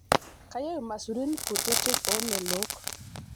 kayieu irmasurin kutitik omelok